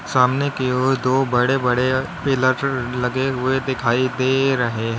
सामने की ओर दो बड़े बड़े पिलर लगे हुए दिखाई दे रहे हैं।